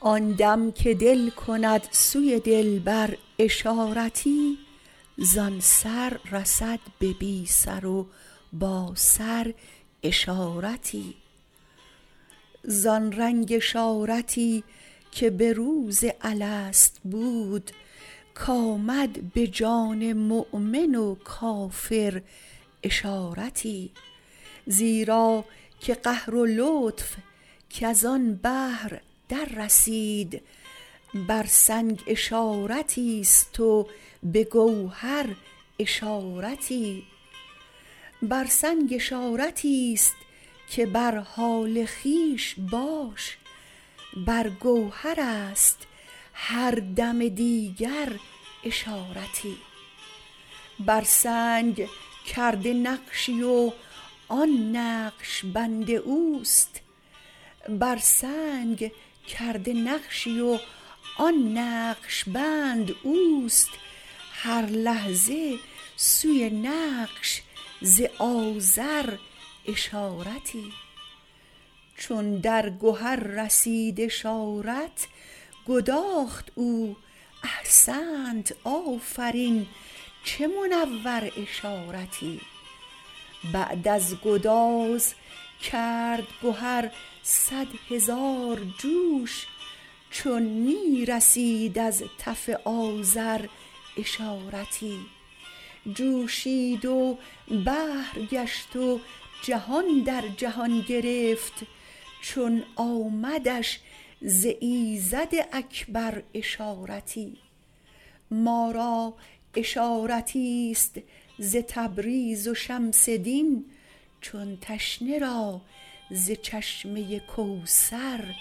آن دم که دل کند سوی دلبر اشارتی زان سر رسد به بی سر و باسر اشارتی زان رنگ اشارتی که به روز الست بود کآمد به جان مؤمن و کافر اشارتی زیرا که قهر و لطف کز آن بحر دررسید بر سنگ اشارتی است و به گوهر اشارتی بر سنگ اشارتی است که بر حال خویش باش بر گوهر است هر دم دیگر اشارتی بر سنگ کرده نقشی و آن نقش بند او است هر لحظه سوی نقش ز آزر اشارتی چون در گهر رسید اشارت گداخت او احسنت آفرین چه منور اشارتی بعد از گداز کرد گهر صد هزار جوش چون می رسید از تف آذر اشارتی جوشید و بحر گشت و جهان در جهان گرفت چون آمدش ز ایزد اکبر اشارتی ما را اشارتی است ز تبریز و شمس دین چون تشنه را ز چشمه کوثر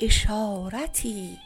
اشارتی